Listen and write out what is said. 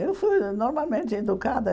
Eu fui normalmente educada.